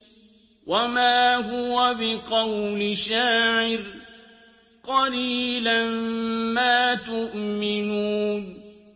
وَمَا هُوَ بِقَوْلِ شَاعِرٍ ۚ قَلِيلًا مَّا تُؤْمِنُونَ